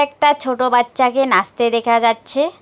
একটা ছোট বাচ্চাকে নাচতে দেখা যাচ্ছে।